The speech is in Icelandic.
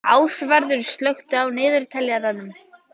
Ásvarður, slökktu á niðurteljaranum.